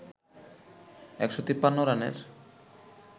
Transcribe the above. ১৫৩ রানের